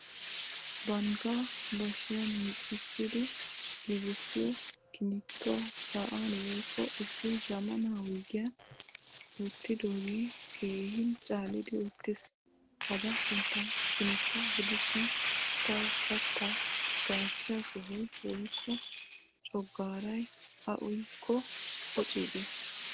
Bangga bashshiyan miccisidi giigisiyo kinittuwaa sa'an woykko issi zamaana wuygiyan wottidoge keehin caalidi uttiis. Hagaa sunttay kinittuwaa gidishin tawu katta gaacciyaa sohoy woykko cogaaray a uyyiko poccigees.